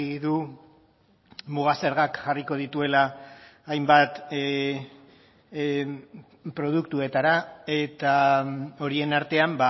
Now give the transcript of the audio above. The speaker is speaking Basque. du muga zergak jarriko dituela hainbat produktuetara eta horien artean